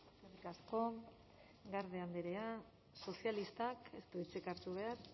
eskerrik asko garde andrea sozialistak ez du hitzik hartu behar